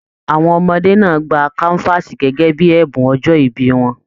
Àwọn ọmọdé náà gbà kanvaasi gẹgẹ bíi ẹbùn ọjọ ìbí wọn.